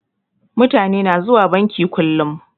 Mutani na zuwa banki kullum